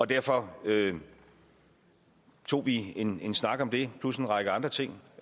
derfor tog vi en en snak om det plus en række andre ting